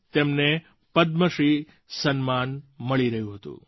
તેમને પદ્મશ્રી સન્માન મળી રહ્યું હતું